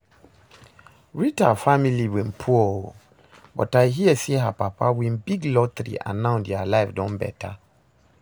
Rita family bin poor oo, but I hear say her papa win big lottery and now dia life don better